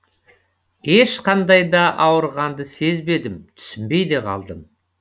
ешқандай да ауырғанды сезбедім түсінбей де қалдым